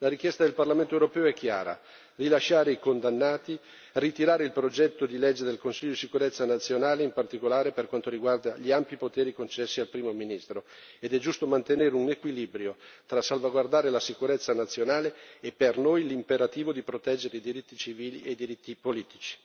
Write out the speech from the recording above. La richiesta del Parlamento europeo è chiara rilasciare i condannati, ritirare il progetto di legge del Consiglio di sicurezza nazionale, in particolare per quanto riguarda gli ampi poteri concessi al primo ministro ed è giusto mantenere un equilibrio tra salvaguardare la sicurezza nazionale e, per noi, l'imperativo di proteggere i diritti civili e i diritti politici.